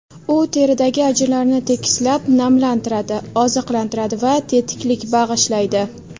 U teridagi ajinlarni tekislab, namlantiradi, oziqlantiradi va tetiklik bag‘ishlaydi.